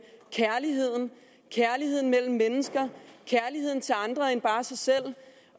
kærligheden kærlighed mellem mennesker kærlighed til andre end bare sig selv